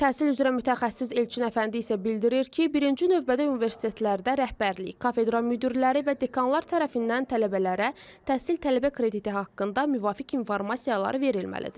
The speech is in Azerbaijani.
Təhsil üzrə mütəxəssis Elçin Əfəndi isə bildirir ki, birinci növbədə universitetlərdə rəhbərlik, kafedra müdirləri və dekanlar tərəfindən tələbələrə təhsil tələbə krediti haqqında müvafiq informasiyalar verilməlidir.